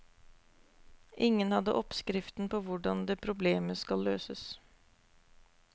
Ingen hadde oppskriften på hvordan det problemet skal løses.